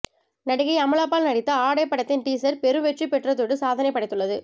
நடிகை அமலா பால் நடித்த ஆடை படத்தின் டீசர் பெரு வெற்றி பெற்றதோடு சாதனை படைத்துள்ளது